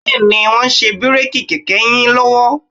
Bẹ́ẹ̀ni, wọ́n ń ṣe bíréèkì kẹ̀kẹ́ yín lọ́wọ́